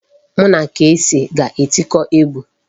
Mụ na Kcee ga-etiko egwu.